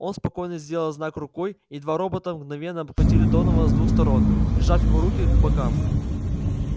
он спокойно сделал знак рукой и два робота мгновенно обхватили донована с двух сторон прижав его руки к бокам